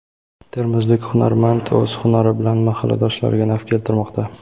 Termizlik hunarmand o‘z hunari bilan mahalladoshlariga naf keltirmoqda.